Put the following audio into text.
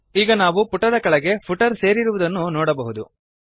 ಈಗ ನಾವು ಪುಟದ ಕೆಳಗಡೆ ಫುಟರ್ ಸೇರಿರುವುದನ್ನು ನೋಡಬಹುದು